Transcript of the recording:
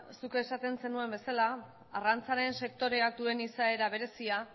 zuk esaten zenuen bezala arrantzaren sektorea duen izaera berezia